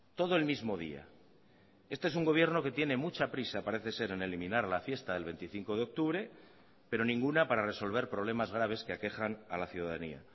todo el mismo día este es un gobierno que tiene mucha prisa parece ser en eliminar la fiesta del veinticinco de octubre pero ninguna para resolver problemas graves que aquejan a la ciudadanía